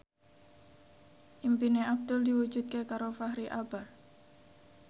impine Abdul diwujudke karo Fachri Albar